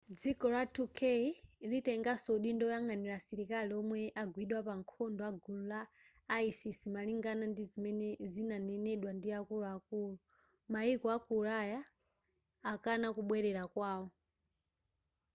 dziko la turkey litengaso udindo woyang'anira asilikali omwe agwidwa pa nkhondo agulu la isis malingana ndi zimene zinadanenedwa ndi akuluakulu mayiko aku ulaya akana kubwerera kwawo